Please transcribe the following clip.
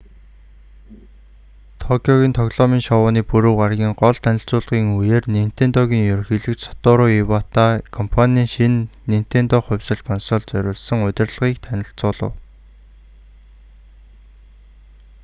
токиогийн тоглоомын шоуны пүрэв гарагийн гол танилцуулгын үеэр нинтендогийн ерөнхийлөгч сатору ивата компаний шинэ нинтендо хувьсал консольд зориулсан удирдлагыг танилцуулав